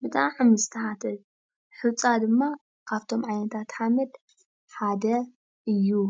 ብጣዕሚ ዝተሓተ እዩ ሑፃ ድማ ካብ'ቶም ዓይነታት ሓመድ ሓደ እዩ ።